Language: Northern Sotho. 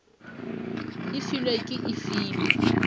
e filwe ke e filwe